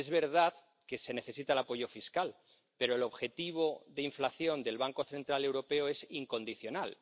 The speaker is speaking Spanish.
Es verdad que se necesita el apoyo fiscal, pero el objetivo de inflación del Banco Central Europeo es incondicional